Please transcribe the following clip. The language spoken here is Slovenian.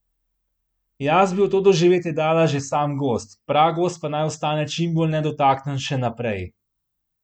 Jaz bi v to doživetje dala že sam gozd, pragozd pa naj ostane čimbolj nedotaknjen še naprej.